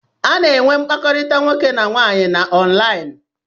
A na-eme mpakọrita nwoke na nwanyị na onlini